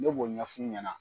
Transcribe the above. Ne b'o ɲɛ f'u ɲɛna